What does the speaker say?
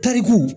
Tariku